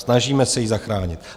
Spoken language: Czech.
Snažíme se ji zachránit.